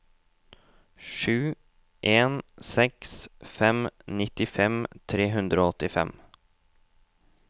sju en seks fem nittifem tre hundre og åttifem